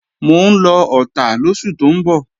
Mò ń lọ Ọ̀tà lóṣù tó ń bọ̀